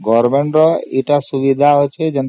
government ର ଟିକେ ସୁବିଧା ଅଛି ଯେ